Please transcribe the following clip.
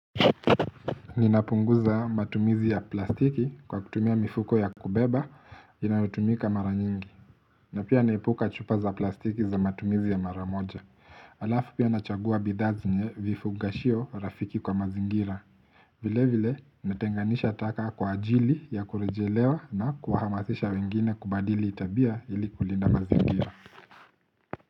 Ninapunguza matumizi ya plastiki kwa kutumia mifuko ya kubeba inayotumika mara nyingi na pia naepuka chupa za plastiki za matumizi ya mara moja Alafu pia nachagua bidhaa zenye vifugashio rafiki kwa mazingira vile vile natenganisha taka kwa ajili ya kurejelewa na kuhamasisha wengine kubadili tabia ili kulinda mazingira.